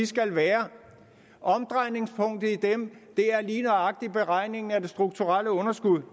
skal være omdrejningspunktet i dem er lige nøjagtig beregningen af det strukturelle underskud